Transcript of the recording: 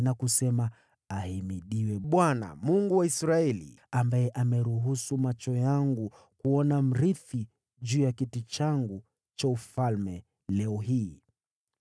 na kusema, ‘Ahimidiwe Bwana , Mungu wa Israeli, ambaye ameruhusu macho yangu kuona mrithi juu ya kiti changu cha ufalme leo hii.’ ”